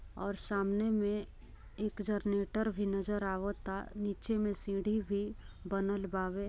और सामने में एक जरनेटर भी नजर आवता नीचे सीढ़ी भी बनल बावे।